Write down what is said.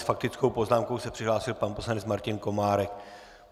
S faktickou poznámkou se přihlásil pan poslanec Martin Komárek.